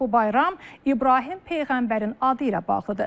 Bu bayram İbrahim peyğəmbərin adı ilə bağlıdır.